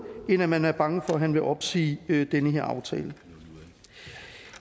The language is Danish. end at man er bange for at han vil opsige den her aftale